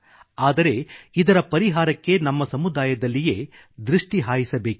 ಆದರೆ ಇದರ ಪರಿಹಾರಕ್ಕೆ ನಮ್ಮ ಸಮುದಾಯದಲ್ಲಿಯೇ ದೃಷ್ಟಿ ಹಾಯಿಸಬೇಕಿದೆ